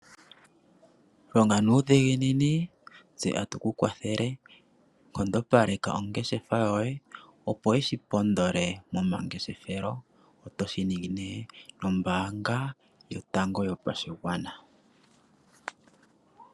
Longa nuudhiginini tse atuku kwathele, nkondo paleka ongeshefa yoye opo yishi pondole momangeshefelo otoshi ningi nombanga yotango yopashigwana.